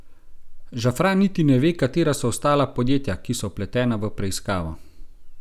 Žafran niti ne ve, katera so ostala podjetja, ki so vpletena v preiskavo.